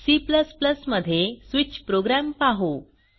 C मध्ये switch program पाहू